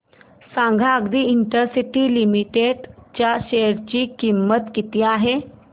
सांगा Adi industries limited च्या share ची किंमत किती आहे